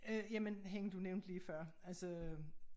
Øh jamen hende du nævnte lige før altså